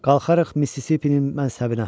Qalxarıq Mississippi-nin mənsəbinə.